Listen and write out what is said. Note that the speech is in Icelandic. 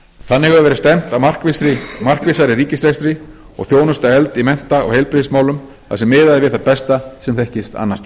þannig hefur verið stefnt að markvissari ríkisrekstri og þjónusta efld í mennta og heilbrigðismálum þar sem miðað er við það besta sem þekkist annars staðar til að